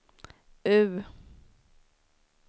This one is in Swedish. U